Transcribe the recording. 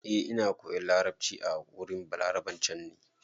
Eh, Ina koyan larabci a wurin Balaraben can ne.